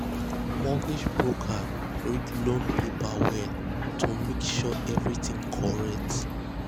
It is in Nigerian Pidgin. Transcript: mortgage broker read um loan paper well um to make sure everything correct. um